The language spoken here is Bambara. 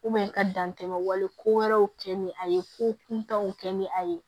ka dantɛmɛ wale ko wɛrɛw kɛ ni a ye ko kuntanw kɛ ni a ye